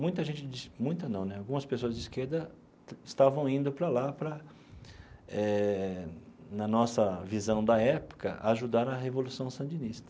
Muita gente de muita não né algumas pessoas de esquerda estavam indo para lá para eh, na nossa visão da época, ajudar a revolução sandinista.